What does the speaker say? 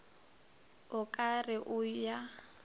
o ka re o ya